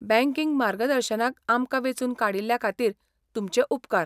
Banking मार्गदर्शनाक आमकां वेंचून काडिल्ल्या खातीर तुमचे उपकार.